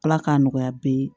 Ala k'a nɔgɔya bɛɛ ye